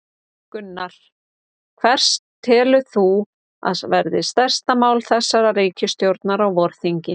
Gunnar: Hvert telur þú að verði stærsta mál þessarar ríkisstjórnar á vorþingi?